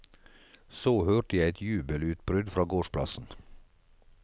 Så hørte jeg et jubelutbrudd fra gårdsplassen.